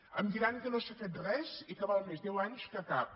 em diran que no s’ha fet res i que val més deu anys que cap